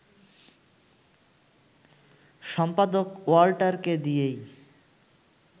সম্পাদক ওয়াল্টারকে দিয়েই